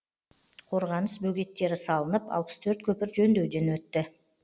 қорғаныс бөгеттері салынып алпыс төрт көпір жөндеуден өтті